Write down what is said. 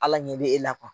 Ala ɲɛ bɛ e la kuwa